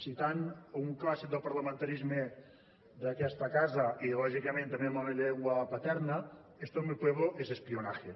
citant un clàssic del parlamentarisme d’aquesta casa i lògicament també en la llengua paterna esto en mi pueblo es espionaje